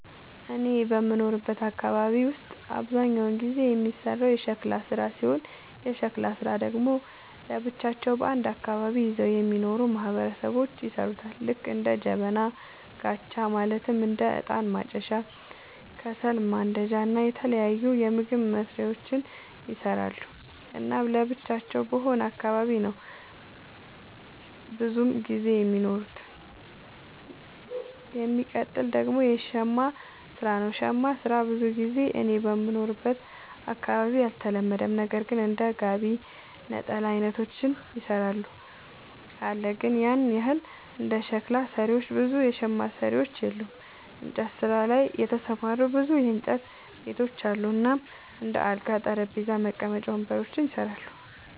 እኔ በምኖርበት አካባቢ ውስጥ አብዛኛውን ጊዜ የሚሰራው የሸክላ ስራ ሲሆን የሸክላ ስራ ደግሞ ለብቻቸው አንድ አካባቢን ይዘው የሚኖሩ ማህበረሰቦች ይሠሩታል ልክ እንደ ጀበና፣ ጋቻ ማለትም እንደ እጣን ማጨሻ፣ ከሰል ማንዳጃ እና የተለያዩ ምግብ መስሪያዎችን ይሰራሉ። እናም ለብቻቸው በሆነ አካባቢ ነው ብዙም ጊዜ የሚኖሩት። የሚቀጥል ደግሞ የሸማ ስራ ነው, ሸማ ስራ ብዙ ጊዜ እኔ በምኖርበት አካባቢ አልተለመደም ነገር ግን እንደ ጋቢ፣ ነጠላ አይነቶችን ይሰራሉ አለ ግን ያን ያህል እንደ ሸክላ ሰሪዎች ብዙ የሸማ ሰሪዎች የሉም። እንጨት ስራ ላይ የተሰማሩ ብዙ የእንጨት ቤቶች አሉ እናም እንደ አልጋ፣ ጠረጴዛ፣ መቀመጫ ወንበሮችን ይሰራሉ።